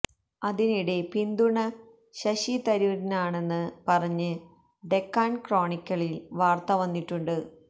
അതിനിടെ പിന്തുണ ശശി തരൂരിനാണെന്ന് പറഞ്ഞ് ഡെക്കാൺ ക്രോണിക്കളിൽ വാർത്ത വന്നിട്ടുണ്ട്